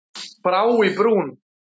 Brá í brún